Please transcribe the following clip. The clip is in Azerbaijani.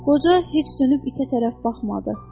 Qoca heç dönüb itə tərəf baxmadı.